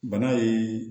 Bana ye